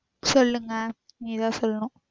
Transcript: சொல்லுங்க நீதா சொல்லணும்